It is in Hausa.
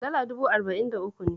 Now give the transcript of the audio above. Dala dubu arba'in da uku ne.